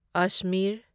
Ajmer